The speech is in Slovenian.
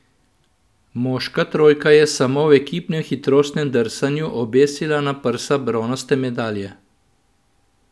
Moška trojka je samo v ekipnem hitrostnem drsanju obesila na prsa bronaste medalje.